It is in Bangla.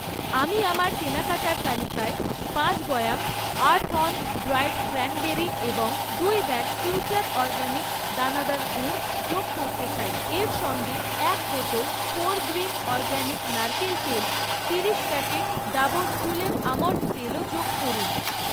আমি আমার কেনাকাটার তালিকায় পাঁচ বয়াম আর্থঅন ড্রায়েড ক্র্যানবেরি এবং দুই ব্যাগ ফিউচার অরগানিক্স দানাদার গুড় যোগ করতে চাই। এর সঙ্গে এক বোতল ফোরগ্রিন অরগ্যানিক নারকেল তেল, তিরিশ প্যাকেট ডাবর চুলের আমন্ড তেলও যোগ করুন।